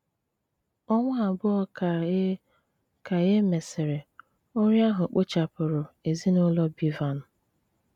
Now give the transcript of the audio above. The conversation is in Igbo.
Ọ̀nwa àbụọ̀ ka e ka e mésịrị, ọrịa ahụ kpòchàpụrụ ezinùlọ Bevan.